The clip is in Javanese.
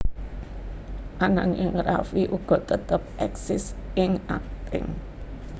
Ananging Raffi uga tetep éksis ing akting